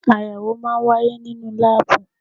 Ayẹwo máa ń wáyé nínú láàbù